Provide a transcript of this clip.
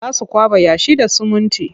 Za su kwaɓa yashi da sumunti.